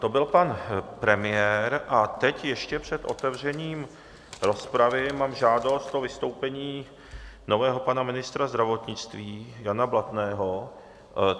To byl pan premiér a teď ještě před otevřením rozpravy mám žádost o vystoupení nového pana ministra zdravotnictví Jana Blatného.